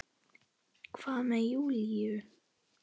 Hvað með Júlíu?